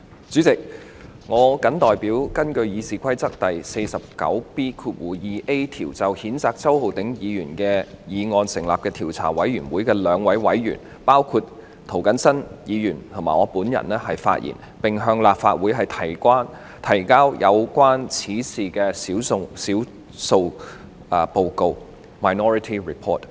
主席，我謹代表根據《議事規則》第 49B 條就譴責周浩鼎議員的議案成立的調查委員會的兩位委員，包括涂謹申議員及我本人發言，並向立法會提交有關此事的少數報告。